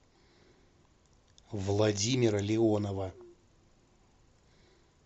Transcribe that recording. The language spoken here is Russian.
владимира леонова